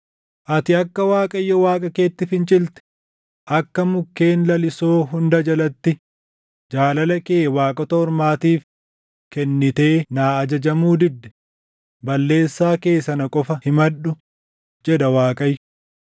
Ati akka Waaqayyo Waaqa keetti fincilte, akka mukkeen lalisoo hunda jalatti jaalala kee waaqota ormaatiif kennitee naa ajajamuu didde, balleessaa kee sana qofa himadhu’ ” jedha Waaqayyo.